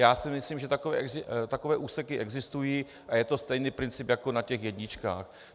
Já si myslím, že takové úseky existují, a je to stejný princip jako na těch jedničkách.